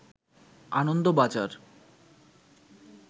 Anandabazar